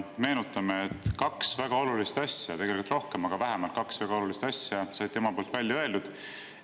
Meenutame, et kaks väga olulist asja, tegelikult oli neid rohkem, aga vähemalt kaks väga olulist asja said tema poolt välja öeldud.